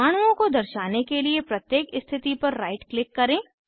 परमाणुओं को दर्शाने के लिए प्रत्येक स्थिति पर राइट क्लिक करें